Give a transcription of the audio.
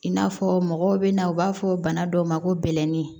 I n'a fɔ mɔgɔw bɛna na u b'a fɔ bana dɔw ma ko bɛlɛnin